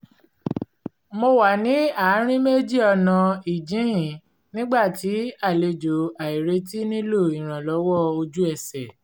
mo wà ní àárín méjì ọ̀nà ìjíhìn nígbà tí àlejò àìretí nílò ìrànlọ́wọ́ ojú ẹsẹ̀